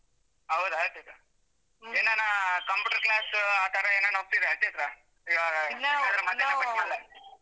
ಹೌದಾ, ಏನಾನ computer class ಆತರ ಏನಾರು ಹೋಗ್ತಿದ್ರ ಚೈತ್ರ ಈವಾಗ .